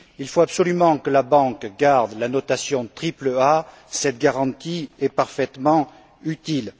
Il faut absolument que la banque garde la notation triple A, cette garantie est parfaitement utile.